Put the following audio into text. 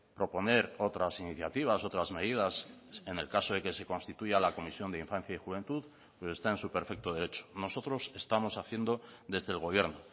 proponer otras iniciativas otras medidas en el caso de que se constituya la comisión de infancia y juventud está en su perfecto derecho nosotros estamos haciendo desde el gobierno